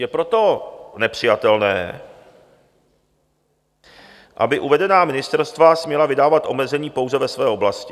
Je proto nepřijatelné, aby uvedená ministerstva směla vydávat omezení pouze ve své oblasti.